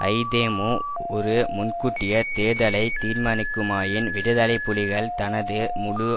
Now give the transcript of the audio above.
ஐதேமு ஒரு முன்கூட்டியத் தேர்தலை தீர்மானிக்குமாயின் விடுதலை புலிகள் தனது முழு